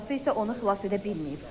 Atası isə onu xilas edə bilməyib.